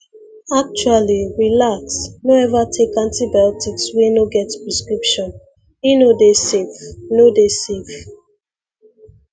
actually relax no ever take antibiotics wey no get prescription e no dey safe no dey safe